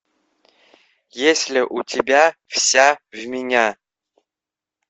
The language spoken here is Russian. есть ли у тебя вся в меня